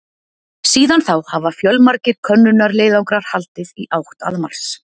Síðan þá hafa fjölmargir könnunarleiðangrar haldið í átt að Mars.